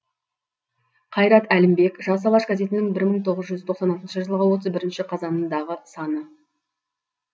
қайрат әлімбек жас алаш газетінің бір мың тоғыз жүз тоқсан алтыншы жылғы отыз бірінші қазанындағы саны